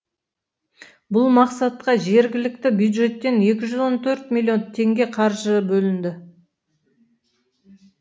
бұл мақсатқа жергілікті бюджеттен екі жүз он төрт миллион теңге қаржы бөлінді